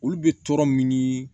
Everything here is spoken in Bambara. Olu bɛ tɔɔrɔ min